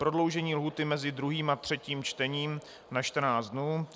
Prodloužení lhůty mezi 2. a 3. čtením na 14 dnů.